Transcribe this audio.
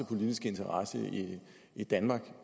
politiske interesse i danmark og